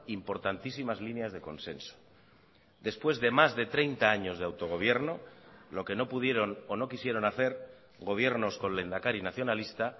importantísimas líneas de consenso después de más de treinta años de autogobierno lo que no pudieron o no quisieron hacer gobiernos con lehendakari nacionalista